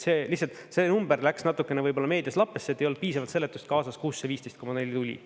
Lihtsalt see number läks natukene võib-olla meedias lappesse, et ei olnud piisavalt seletust kaasas, kust see 15,4 tuli.